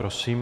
Prosím.